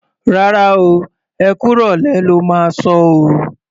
Rárá o, ẹ kú ìrọ̀lẹ́ lo máa sọ o.